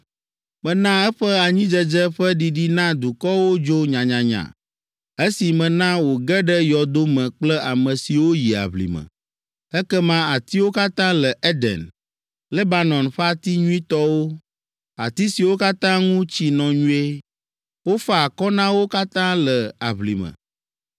Mena eƒe anyidzedze ƒe ɖiɖi na dukɔwo dzo nyanyanya, esi mena wòge ɖe yɔdo me kple ame siwo yi aʋlime. Ekema atiwo katã le Eden, Lebanon ƒe ati nyuitɔwo, ati siwo katã ŋu tsi nɔ nyuie, wofa akɔ na wo katã le aʋlime.